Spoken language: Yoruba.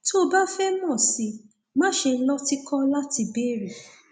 tó o bá fẹ mọ sí i má ṣe lọtìkọ láti béèrè